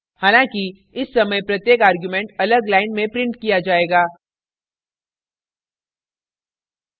हालाँकि इस समय प्रत्येक argument अलग line में printed किया जायेगा